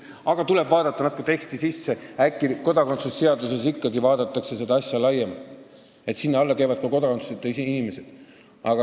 Aga tuleb natuke teksti sisse vaadata – äkki ikkagi vaadatakse kodakondsuse seaduses seda asja laiemalt, st sinna alla käivad ka kodakondsuseta inimesed.